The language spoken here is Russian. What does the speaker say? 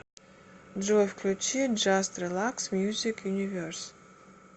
джой включи джаст релакс мьюзик юниверс